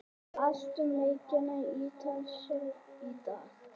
Allt um leikina í Ítalska í dag.